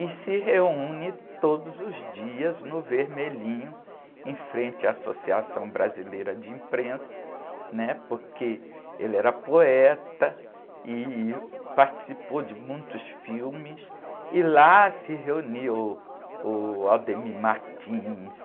e se reúne todos os dias no Vermelhinho, em frente à Associação Brasileira de Imprensa, né? Porque ele era poeta e participou de muitos filmes, e lá se reuniu uh, o